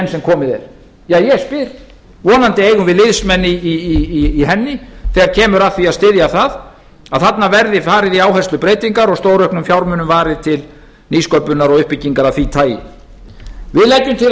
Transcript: sem komið er ég spyr vonandi eigum við liðsmenn í henni þegar kemur að því að styðja það að þarna verði farið í áherslubreytingar og stórauknum fjármunum varið til nýsköpunar og uppbyggingar af því tagi við leggjum til að